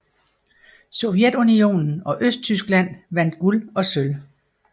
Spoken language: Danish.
Sovjetunionen og Østtyskland vandt guld og sølv